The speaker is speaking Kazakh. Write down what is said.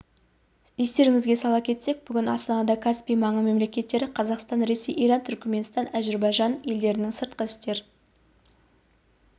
естеріңізге сала кетсек бүгін астанада каспий маңы мемлекеттері қазақстан ресей иран түркіменстан әзірбайжан елдерінің сыртқы істер